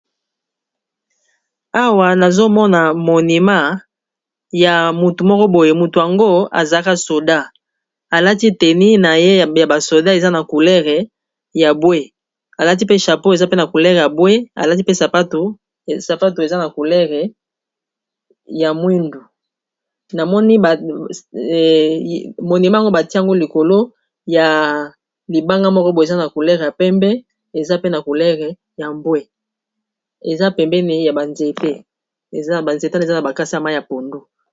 Awa nazomona monima ya mutu moko boye, mutu yango azaka soda alati teni na ye ya basoda eza na coulere ya bwe alati pe chapeau eza pe na coulere ya bwe, laipsapato eza na coulere ya mwindu monima ango batiango likolo ya libanga moko bo eza na coulere ya pembe ezaa culere ya bwe, banzetan eza na bakasia ma ya pondu.